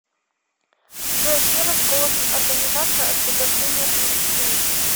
джой где расположен организация освобождения палестины